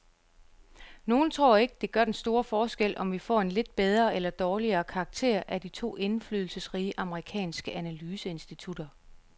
Nogle tror ikke, det gør den store forskel, om vi får en lidt bedre eller dårligere karakter af de to indflydelsesrige amerikanske analyseinstitutter.